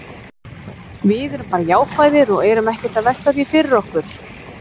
Við erum bara jákvæðir og erum ekkert að velta því fyrir okkur.